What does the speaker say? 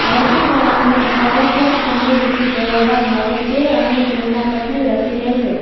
રસીકરણ માટે ફરજીયાત સમય વીતી ગયા બાદ હવે તે અને તેમના પતિ રસી લેશે